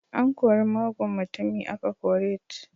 An kori mugun mutumi aka kore t